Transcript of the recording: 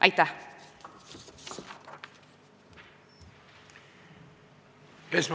Aitäh!